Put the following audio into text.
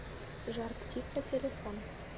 жар птица телефон